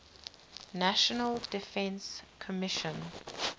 national defense commission